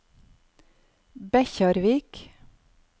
Bekkjarvik